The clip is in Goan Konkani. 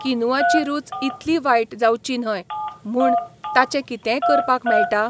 किनुआची रूच इतलीं वायट जावची न्हय म्हूण ताचें कितेंय करपाक मेळटा?